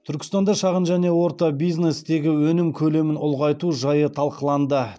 түркістанда шағын және орта бизнестегі өнім көлемін ұлғайту жайы талқыланды